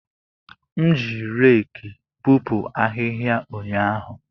M ji reekị bupu ahihia ụnyaahụ.